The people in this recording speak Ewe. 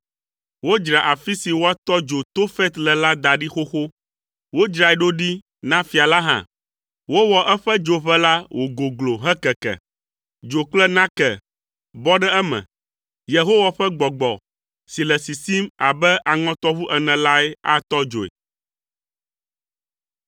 Wodzra afi si woatɔ dzo Tofet le la da ɖi xoxo. Wodzrae ɖo ɖi na fia la hã. Wowɔ eƒe dzoʋe la wògoglo hekeke. Dzo kple nake bɔ ɖe eme. Yehowa ƒe Gbɔgbɔ si le sisim abe aŋɔtɔʋu ene lae atɔ dzoe.